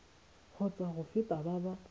kgotsa go feta ba ba